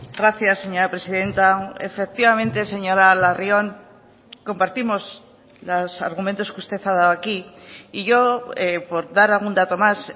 gracias señora presidenta efectivamente señora larrion compartimos los argumentos que usted ha dado aquí y yo por dar algún dato más